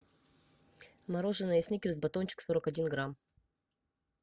мороженое сникерс батончик сорок один грамм